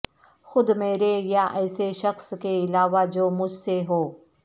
خود میرے یا ایسے شخص کے علاوہ جو مجھ سے ہو